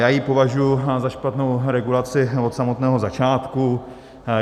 Já ji považuji za špatnou regulaci od samotného začátku.